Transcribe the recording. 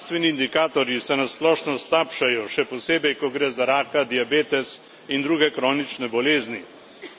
Zdravstveni indikatorji se na splošno slabšajo, še posebej, ko gre za raka, diabetes in druge kronične bolezni.